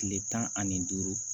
Kile tan ani duuru